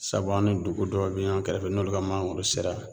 Sabu an ni dugu dɔw be ɲɔn kɛrɛfɛ n'olu ka mangoro sera